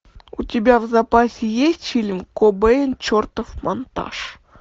у тебя в запасе есть фильм кобейн чертов монтаж